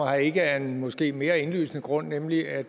og ikke af en måske mere indlysende grund nemlig at